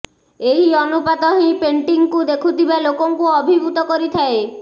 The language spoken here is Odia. ଏହି ଅନୁପାତ ହିଁ ପେଣ୍ଟିଂକୁ ଦେଖୁଥିବା ଲୋକକୁ ଅଭିଭୂତ କରିଥାଏ